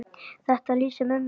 Þetta lýsir mömmu vel.